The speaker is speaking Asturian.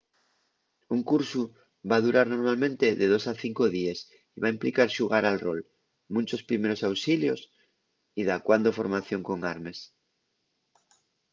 un cursu va durar normalmente de 2 a 5 díes y va implicar xugar al rol munchos primeros auxilios y dacuando formación con armes